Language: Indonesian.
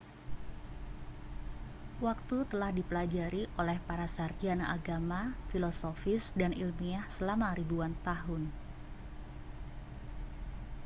waktu telah dipelajari oleh para sarjana agama filosofis dan ilmiah selama ribuan tahun